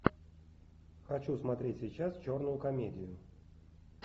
хочу смотреть сейчас черную комедию